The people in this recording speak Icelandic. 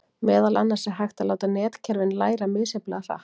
Meðal annars er hægt að láta netkerfin læra misjafnlega hratt.